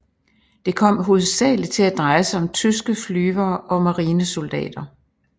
Det kom hovedsagelig til at dreje sig om tyske flyvere og marinesoldater